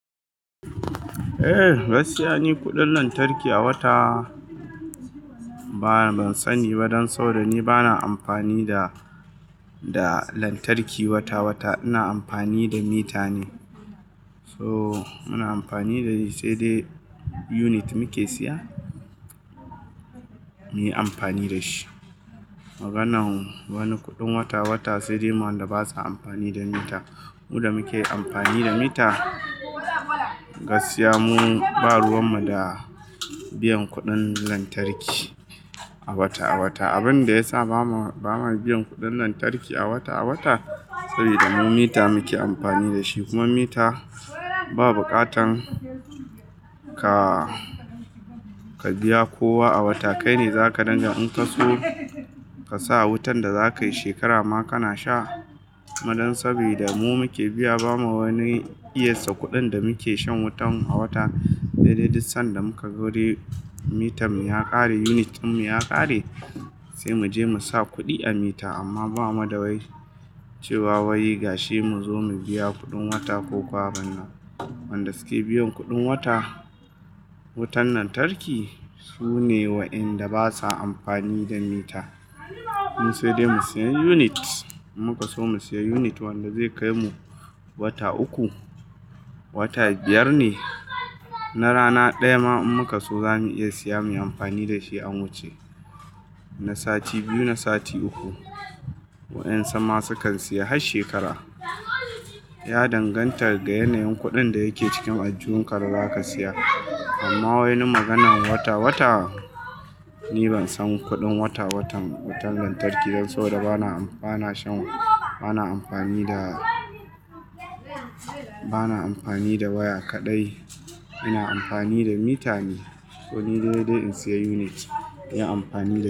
Eh, gaskiya ni kuɗin lantarki a wata bana ban sani ba dan saboda ni bana amfani da lantarki wata-wata. Ina amfani da mita ne. So muna amfani da shi sai dai unit muke siya muyi amfani da shi. Maganan wani kuɗin wata-wata sai dai ma wanda basa amfani da mita. Mu da muke amfani da mita gaskiya mu ba ruwan mu da biyan kuɗin lantarki a wata-wata. Abin da ya sa bamu, ba mu biyan kuɗin lantarki a wata-wata saboda mu mita muke amfani da shi kuma mita ba buƙatan ka, ka biya kowa a wata. Kai ne zaka danga in ka so ka sa wutan da zakayi shekara ma kana sha. Ma dan saboda mu muke biya bamu wani iya sa kuɗin da muke shan wutan a wata sai dai duk sanda muka zo dai mitan mu ya ƙare, unit ɗin mu ya ƙare sai mu je mu sa kuɗi a mita amma bamu da wai cewa wai ga shi mu zo mu biya kuɗin wata ko kuwa abana. Wanda su ke biyan kuɗin wata, wutan lantarki su ne wa'inda basa amfani da mita. Mun sai dai mu siya unit, mun ka so mu siya unit wanda zai kai mu wata uku, wata biyar ne na rana ɗaya ma in muka so za mu iya siya muyi amfani da shi an wuce. Na sati biyu, na sati uku. Wa'yan suma su kan siya har shekara. Ya danganta ga yanayin kuɗin da yake cikin aljihunka da zaka siya. Amma wai nu maganan wata-wata, ni ban san kuɗin wata-watan wutan lantarki dan saboda bana amfana shan, bana amfani da, bana amfani da waya kaɗai. Ina amfani da mita ne. To ni saidai in siya unit yin amfani da shi.